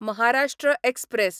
Maharashtra express